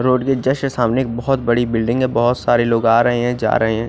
Road के just सामने एक बहोत बड़ी बिल्डिंग है बहोत सारे लोग आ रहे है जा रहे है।